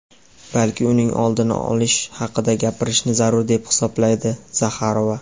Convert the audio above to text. balki uning oldini olish haqida gapirishni zarur deb hisoblaydi – Zaxarova.